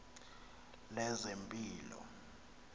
lezempilo